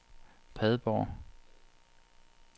Padborg